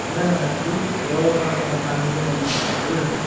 ନା ନା ନା ତୁ ତୋ ସାଙ୍ଗକୁ ମନା କର ବୁଝିଲୁ ନା?